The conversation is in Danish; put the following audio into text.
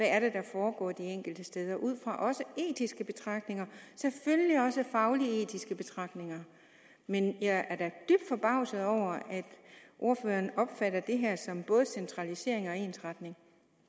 er der foregår de enkelte steder også ud fra etiske betragtninger og selvfølgelig også fagligetiske betragtninger men jeg er dybt forbavset over at ordføreren opfatter det her som både centralisering og ensretning